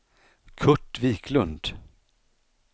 Kurt Viklund